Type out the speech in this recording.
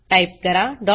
type करा str2